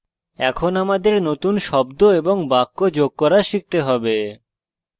এখন আমাদের নতুন শব্দ এবং বাক্য যোগ করা শিখতে হবে